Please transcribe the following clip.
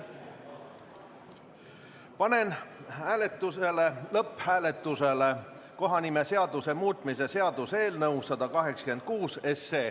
Panen lõpphääletusele kohanimeseaduse muutmise seaduse eelnõu 186.